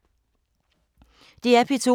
DR P2